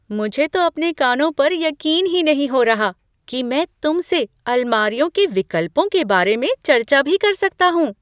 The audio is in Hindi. मुझे तो अपने कानों पर यकीन ही नहीं हो रहा कि मैं तुमसे अलमारियों के विकल्पों के बारे में चर्चा भी कर सकता हूँ।